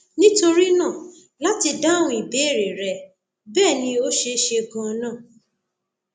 nítorí náà láti dáhùn ìbéèrè rẹ bẹẹ ni ó ṣeé ṣe ganan